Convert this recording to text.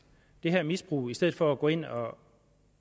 det her misbrug i stedet for at gå ind og